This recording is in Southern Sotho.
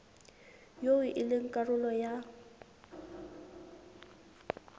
eo e leng karolo ya